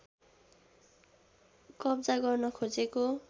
कब्जा गर्न खोजेको